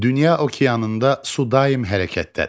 Dünya okeanında su daim hərəkətdədir.